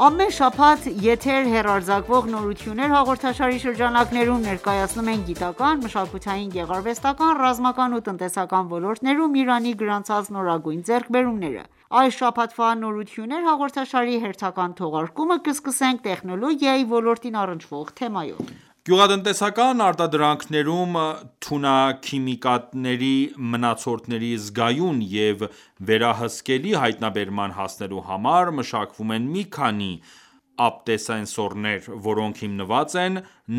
Ամեն շաբաթ եթեր հեռարձակվող «Նորություններ» հաղորդաշարի շրջանակներում ներկայացնում ենք գիտական, մշակութային, գեղարվեստական, ռազմական ու տնտեսական ոլորտներում Իրանի գրանցած նորագույն ձեռքբերումները։ Այս շաբաթվա «Նորություններ» հաղորդաշարի հերթական թողարկումը կսկսենք տեխնոլոգիայի ոլորտին առնչվող թեմայով: Գյուղատնտեսական արտադրանքներում թունաքիմիկատների մնացորդների զգայուն և վերահսկելի հայտնաբերման հասնելու համար մշակվում են մի քանի ապտասենսորներ, որոնք հիմնված են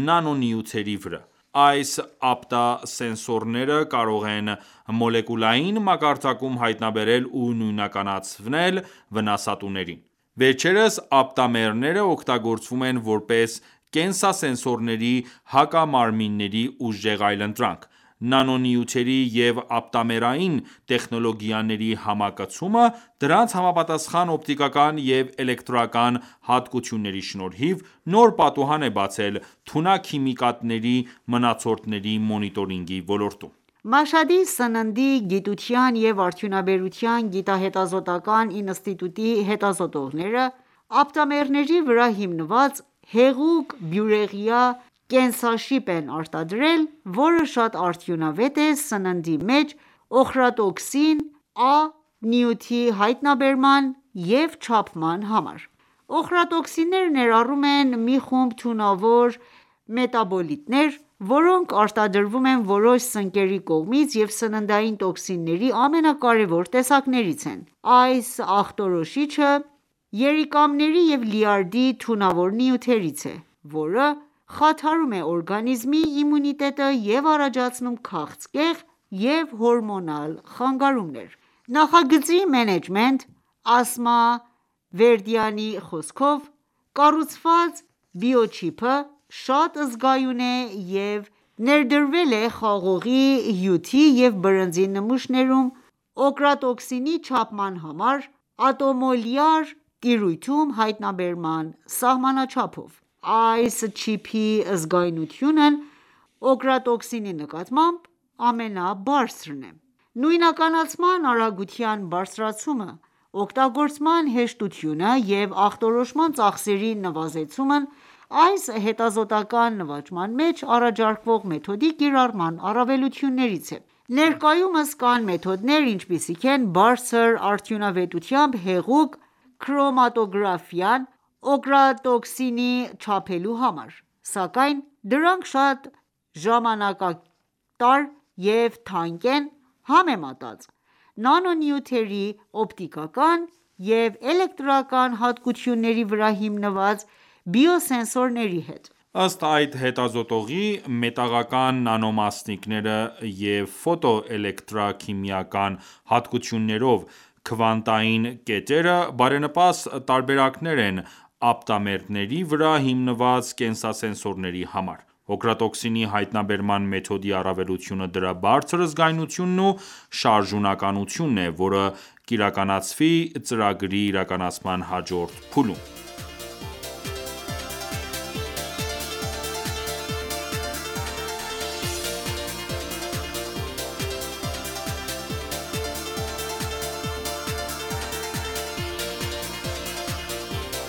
նանոնյութերի վրա: Այս ապտասենսորները կարող են մոլեկուլային մակարդակում հայտնաբերել ու նույնականացնել վնասատուներին: Վերջերս ապտամերները օգտագործվում են որպես կենսասենսորների հակամարմինների ուժեղ այլընտրանք: Նանոնյութերի և ապտամերային տեխնոլոգիաների համակցումը, դրանց համապատասխան օպտիկական և էլեկտրական հատկությունների շնորհիվ, նոր պատուհան է բացել թունաքիմիկատների մնացորդների մոնիտորինգի ոլորտում: Մաշհադի Սննդի գիտության և արդյունաբերության գիտահետազոտական ​​ինստիտուտի հետազոտողները ապտամերների վրա հիմնված հեղուկ բյուրեղյա կենսաշիպ են արտադրել, որը շատ արդյունավետ է սննդի մեջ օխրատոքսին A (OchratoxinA) նյութի հայտնաբերման և չափման համար։ Օխրատոքսինները ներառում են մի խումբ թունավոր մետաբոլիտներ, որոնք արտադրվում են որոշ սնկերի կողմից և սննդային տոքսինների ամենակարևոր տեսակներից են: Այս աղտոտիչը երիկամների և լյարդի թունավոր նյութերից է, որը խաթարում է օրգանիզմի իմունիտետը և առաջացնում քաղցկեղ և հորմոնալ խանգարումներ: Նախագծի մենեջեր Ասմա Վերդյանի խոսքով, կառուցված բիոչիպը շատ զգայուն է և ներդրվել է խաղողի հյութի և բրնձի նմուշներում օկրատոքսինի չափման համար ատոմոլյար տիրույթում հայտնաբերման սահմանաչափով: Այս չիպի զգայունությունն օկրատոքսինի նկատմամբ, ամենաբարձրն է: Նույնականացման արագության բարձրացումը, օգտագործման հեշտությունը և ախտորոշման ծախսերի նվազեցումն այս հետազոտական ​​նվաճման մեջ առաջարկվող մեթոդի կիրառման առավելություններից են: Նույնականացման արագության բարձրացումը, օգտագործման հեշտությունը և ախտորոշման ծախսերի նվազեցումն այս հետազոտական ​​մեջ առաջարկվող մեթոդի կիրառման առավելություններից են: Ներկայումս կան մեթոդներ, ինչպիսիք են բարձր արդյունավետությամբ հեղուկ քրոմատոգրաֆիան՝ օկրատոքսինը չափելու համար, սակայն դրանք շատ ժամանակատար և թանկ են՝ համեմատած նանոնյութերի օպտիկական և էլեկտրական հատկությունների վրա հիմնված բիոսենսորների հետ: Ըստ այս հետազոտողի, մետաղական նանոմասնիկները և ֆոտոէլեկտրաքիմիական հատկություններով քվանտային կետերը բարենպաստ տարբերակներ են ապտամերների վրա հիմնված կենսասենսորների համար։ Օկրատոքսինի հայտնաբերման մեթոդի առավելությունը դրա բարձր զգայունությունն ու շարժունակությունն է, որը կիրականացվի ծրագրի իրականացման հաջորդ փուլում։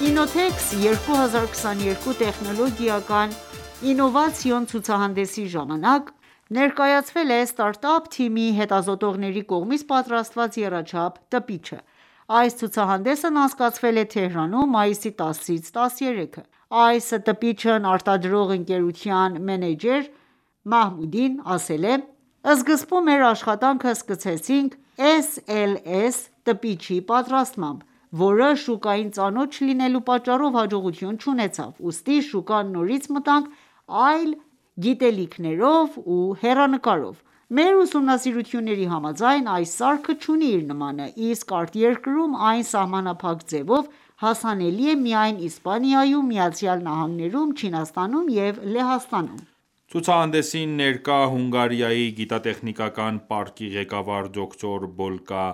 Innotex 2022 տեխնոլոգիական և ինովացիոն ցուցահանդեսի ժամանակ ներկայացվել է ստարտափ թիմի հետազոտողների կողմից պատրաստված եռաչափ տպիչը։ Այս ցուցահանդեսն անցկացվել է Թեհրանում՝ մայիսի 10-ից 13-ը։ Այս տպիչն արտադրող ընկերության մենեջեր Մահմուդին ասել է. «Սկզբում մեր աշխատանքը սկսեցինք SLS տպիչի պատրաստմամբ, որը շուկային ծանոթ չլինելու պատճառով հաջողություն չունեցավ, ուստի շուկա նորից մտանք այլ գիտելիքներով ու հեռանկարով։ Մեր ուսումնասիրությունների համաձայն՝ այս սարքը չունի իր նմանը, իսկ արտերկրում այն ​​սահմանափակ ձևով հասանելի է միայն Իսպանիայում, ԱՄՆ-ում, Չինաստանում և Լեհաստանում։ Ցուցահանդեսին ներկա Հունգարիայի գիտատեխնիկական պարկի ղեկավար դոկտոր Բոլկայ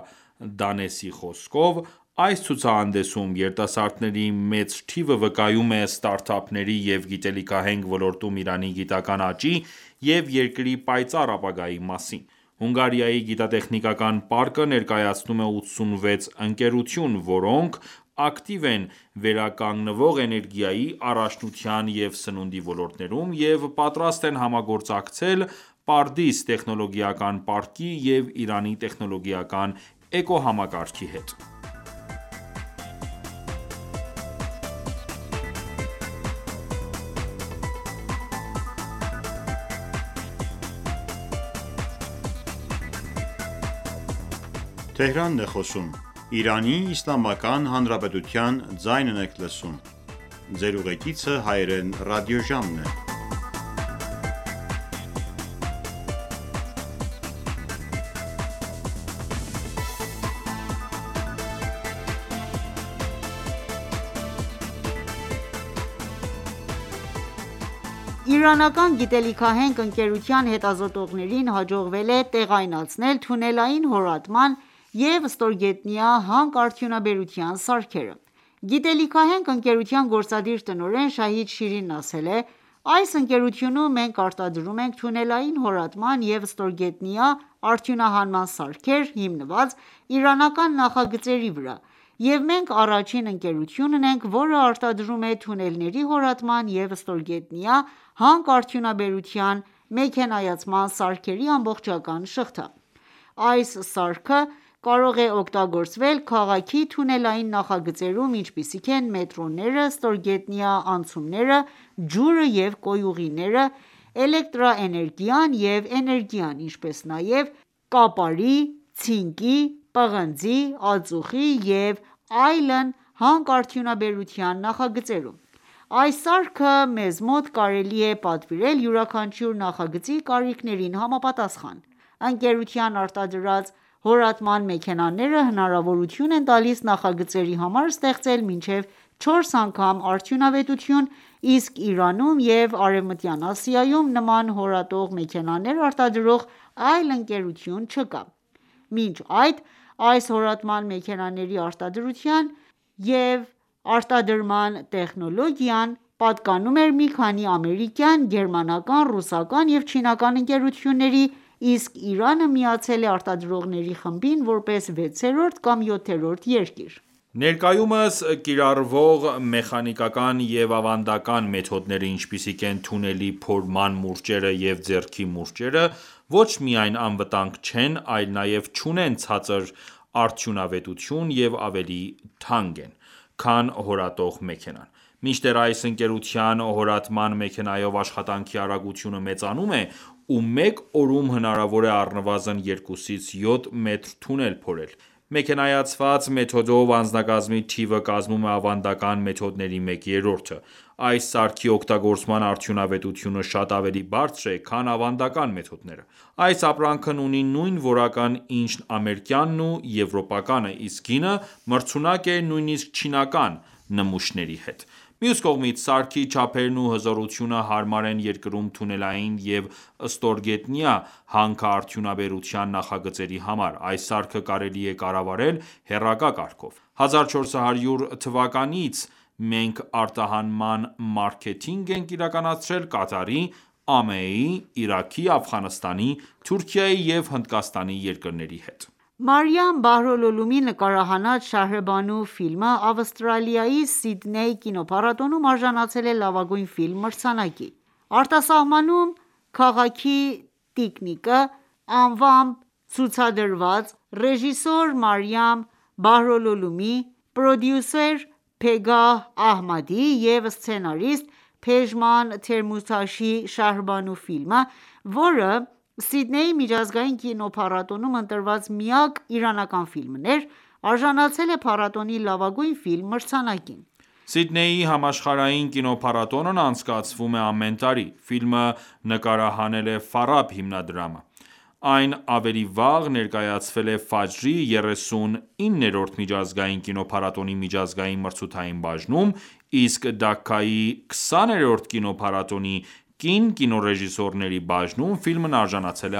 Դանեսի խոսքով, «Այս ցուցահանդեսում երիտասարդների մեծ թիվը վկայում է ստարտափների և գիտելիքահենք ոլորտում Իրանի գիտական ​​աճի և երկրի պայծառ ապագայի մասին: Հունգարիայի գիտատեխնիկական պարկը ներկայացնում է 86 ընկերություն, որոնք ակտիվ են վերականգնվող էներգիայի, առողջության և սննդի ոլորտներում և պատրաստ են համագործակցել «Պարդիս» տեխնոլոգիական պարկի և Իրանի տեխնոլոգիական էկոհամակարգի հետ: Իրանական գիտելիքահենք ընկերության հետազոտողներին հաջողվել է տեղայնացնել թունելային հորատման և ստորգետնյա հանքարդյունաբերության սարքերը։ Գիտելիքահենք ընկերության գործադիր տնօրեն Շահիդ Շիրինն ասել է.«Այս ընկերությունում մենք արտադրում ենք թունելային հորատման և ստորգետնյա արդյունահանման սարքեր՝ հիմնված իրանական նախագծերի վրա, և մենք առաջին ընկերությունն ենք, որը արտադրում է թունելների հորատման և ստորգետնյա հանքարդյունաբերության մեքենայացման սարքերի ամբողջական շղթա»: Այս սարքը կարող է օգտագործվել քաղաքի թունելային նախագծերում, ինչպիսիք են մետրոները, ստորգետնյա անցումները, ջուրը և կոյուղիները, էլեկտրաէներգիան և էներգիան, ինչպես նաև կապարի, ցինկի, պղնձի, ածուխի և այլն հանքարդյունաբերության նախագծերում: Այս սարքը մեզ մոտ կարելի է պատվիրել յուրաքանչյուր նախագծի կարիքներին համապատասխան: Ընկերության արտադրած հորատման մեքենաները հնարավորություն են տալիս նախագծերի համար ստեղծել մինչև 4 անգամ արդյունավետություն, իսկ Իրանում և Արևմտյան Ասիայում նման հորատող մեքենաներ արտադրող այլ ընկերություն չկա։ Մինչ այդ, այս հորատման մեքենաների արտադրության և արտադրության տեխնոլոգիան պատկանում էր մի քանի ամերիկյան, գերմանական, ռուսական և չինական ընկերությունների, իսկ Իրանը միացել է արտադրողների խմբին որպես վեցերորդ կամ յոթերորդ երկիր։ Ներկայումս կիրառվող մեխանիկական և ավանդական մեթոդները, ինչպիսիք են թունելի փորման մուրճերը և ձեռքի մուրճերը, ոչ միայն անվտանգ չեն, այլ նաև չունեն ցածր արդյունավետություն և ավելի թանկ են, քան հորատող մեքենան: Մինչդեռ այս ընկերության հորատման մեքենայով աշխատանքի արագությունը մեծանում է, ու մեկ օրում հնարավոր է առնվազն 2-ից 7 մետր թունել փորել։ Մեքենայացված մեթոդով անձնակազմի թիվը կազմում է ավանդական մեթոդների մեկ երրորդը: Այս սարքի օգտագործման արդյունավետությունը շատ ավելի բարձր է, քան ավանդական մեթոդները։ Այս ապրանքն ունի նույն որակն ինչ ամերիկյանն ու եվրոպականը, իսկ գինը մրցունակ է նույնիսկ չինական նմուշների հետ: Մյուս կողմից, սարքի չափերն ու հզորությունը հարմար են երկրում թունելային և ստորգետնյա հանքարդյունաբերության նախագծերի համար։ Այս սարքը կարելի է կառավարել հեռակա կարգով: 1400 թվականից մենք արտահանման մարքեթինգ ենք իրականացրել Կատարի, ԱՄԷ-ի, Իրաքի, Աֆղանստանի, Թուրքիայի և Հնդկաստանի երկրների հետ»։ Մարիամ Բահրոլոլումիի նկարահանած «Շահրբանու» ֆիլմը Ավստրալիայի Սիդնեյի կինոփառատոնում արժանացել է «Լավագույն ֆիլմ» մրցանակին։ Արտասահմանում «Քաղաքի տիկինը» անվանմ ցուցադրված, ռեժիսոր Մարիամ Բահրոլուլումի, պրոդյուսեր Պեգահ Ահմադի և սցենարիստ Փեջման Թեմուրթաշի «Շահրբանու» ֆիլմը, որը Սիդնեյի միջազգային կինոփառատոնում ընտրված միակ իրանական ֆիլմն էր, արժանացել է փառատոնի «Լավագույն ֆիլմ» մրցանակին։ Սիդնեյի համաշխարհային կինոփառատոնն անցկացվում է ամեն տարի։ Ֆիլմը նկարահանել է «Ֆարաբ» հիմնադրամը: Այն ավելի վաղ ներկայացվել էր «Ֆաջր»-ի 39-րդ միջազգային կինոփառատոնի միջազգային մրցութային բաժնում, իսկ Դաքայի 20-րդ կինոփառատոնի կին կինոռեժիսորների բաժնում ֆիլմն արժանացել է